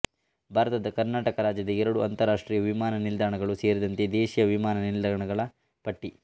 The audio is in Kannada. ಭಾರತದ ಕರ್ನಾಟಕ ರಾಜ್ಯದ ಎರಡು ಅಂತರರಾಷ್ಟ್ರೀಯ ವಿಮಾನ ನಿಲ್ದಾಣಗಳು ಸೇರಿದಂತೆ ದೇಶೀಯ ವಿಮಾನ ನಿಲ್ದಾಣಗಳ ಪಟ್ಟಿ